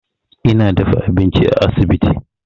Ina dafa abinci a asibiti.